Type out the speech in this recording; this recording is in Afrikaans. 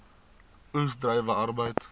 oes druiwe arbeid